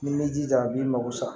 Ni m'i jija a b'i mago sa